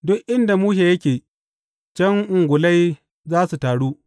Duk inda mushe yake, can ungulai za su taru.